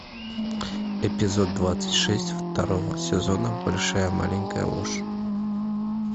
эпизод двадцать шесть второго сезона большая маленькая ложь